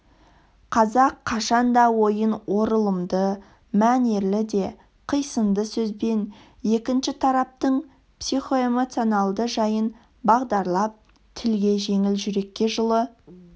қазақ қашан да ойын оралымды мәнерлі де қисынды сөзбен екінші тараптың психоэмоционалды жайын бағдарлап тілге жеңіл жүрекке жылы